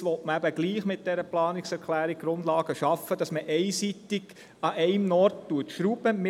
Doch nun will man mit dieser Planungserklärung die Grundlagen schaffen, damit man einseitig an einem Ort schrauben kann.